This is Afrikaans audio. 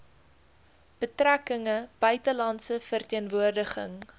betrekkinge buitelandse verteenwoordiging